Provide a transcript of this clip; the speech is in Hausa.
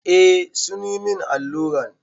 Eh sun yi min alluran.